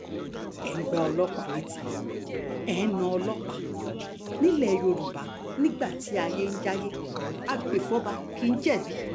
ẹ ń gba ọlọ́pàá letí ẹ̀ ń ná ọlọ́pàá nílẹ̀ yorùbá nígbà tí ayé ń jayé agbèfọ́ba kì í jẹ̀bi